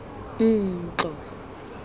ntlo